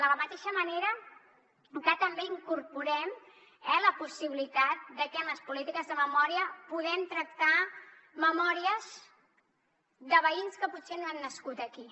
de la mateixa manera que també incorporem la possibilitat de que en les polítiques de memòria puguem tractar memòries de veïns que potser no han nascut aquí